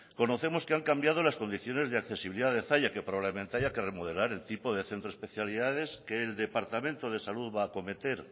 conocemos que han cambiado las condiciones de accesibilidad de zalla que probablemente haya que remodelar el tipo de centro de especialidades que el departamento de salud va a cometer